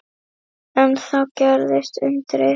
En þá gerðist undrið.